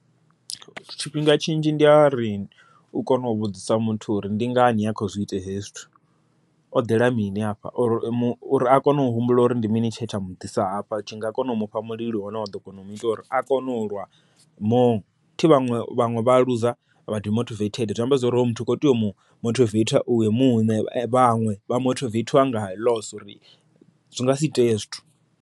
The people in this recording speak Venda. Tshifhinga tshinzhi ndi a ri u kone u vhudzisa muthu uri ndi ngani a khou zwi ita hezwi zwithu o ḓela mini hafha, uri a kone u humbula uri ndi mini tshe tsha muḓisa hafha tshi nga kona u mufha mulilo wa ḓo kona u muita uri a kone ulwa more. Athi vhaṅwe, vhaṅwe vha luza demotivate zwiamba zwori muthu kho tea u mu mothiveitha iwe muṋe, vhaṅwe vha mothivethiwa nga uri zwi nga si itee hezwo zwithu.